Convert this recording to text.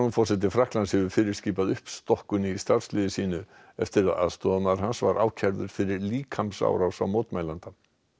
forseti Frakklands hefur fyrirskipað uppstokkun í starfsliði sínu eftir að aðstoðarmaður hans var ákærður fyrir líkamsárás á mótmælanda